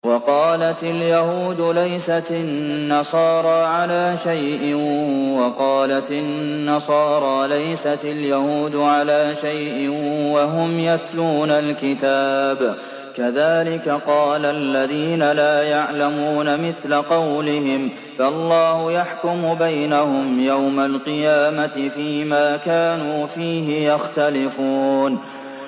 وَقَالَتِ الْيَهُودُ لَيْسَتِ النَّصَارَىٰ عَلَىٰ شَيْءٍ وَقَالَتِ النَّصَارَىٰ لَيْسَتِ الْيَهُودُ عَلَىٰ شَيْءٍ وَهُمْ يَتْلُونَ الْكِتَابَ ۗ كَذَٰلِكَ قَالَ الَّذِينَ لَا يَعْلَمُونَ مِثْلَ قَوْلِهِمْ ۚ فَاللَّهُ يَحْكُمُ بَيْنَهُمْ يَوْمَ الْقِيَامَةِ فِيمَا كَانُوا فِيهِ يَخْتَلِفُونَ